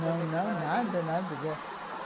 Não, não, nada, nada.